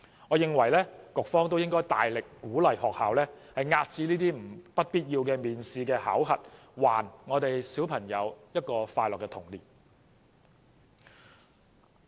我認為局長也應大力鼓勵學校遏止不必要的面試和考核，讓每位小朋友都擁有快樂的童年。